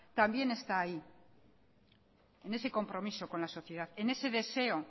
también está ahí en ese compromiso con la sociedad en ese deseo